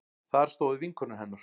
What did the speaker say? Þar stóðu vinkonur hennar